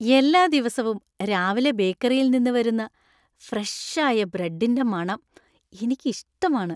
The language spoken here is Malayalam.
എല്ലാ ദിവസവും രാവിലെ ബേക്കറിയിൽ നിന്ന് വരുന്ന ഫ്രഷ് ആയ ബ്രെഡിന്‍റെ മണം എനിക്കിഷ്ടമാണ്.